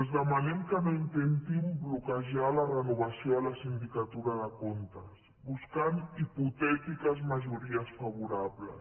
els demanem que no intentin bloquejar la renovació de la sindicatura de comptes buscant hipotètiques majories favorables